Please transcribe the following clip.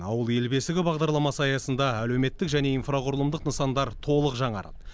ауыл ел бесігі бағдарламасы аясында әлеуметтік және инфрақұрылымдық нысандар толық жаңарады